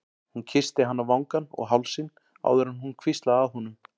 Hún kyssti hann á vangann og hálsinn áður en hún hvíslaði að honum